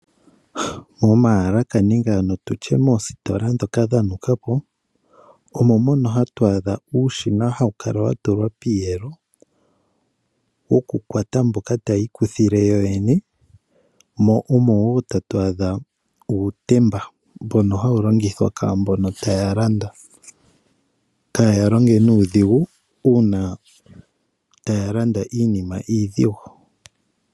Momaalaka nenge ano tutye moositola ndhoka dha nukapo omo mono hatu adha uushina hawu kala watulwa piiyelo woku kwata mboka taya ikuthile yo yene, mo omo woo tatu adha uutemba mbono hawu longithwa kwaambono taya landa , kaaya longe nuudhigu uuna taya landa iinima iidhigu.